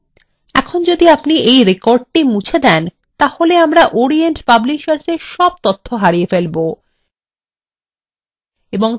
এখন যদি আপনি এই record মুছে then তাহলে আমরা orient publishersএর সব তথ্য হারিয়ে ফেলব